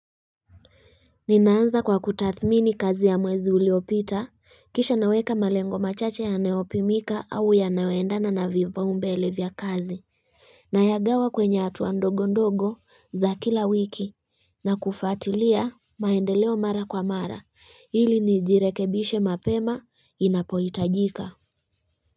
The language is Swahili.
Ninaanza kwa kutathmini kazi ya mwezi uliopita kisha naweka malengo machache yanayopimika au yanayoendana na vipaumbele vya kazi Nayagawa kwenye hatua ndogo ndogo za kila wiki na kufuatilia maendeleo mara kwa mara ili nijirekebishe mapema inapohitajika.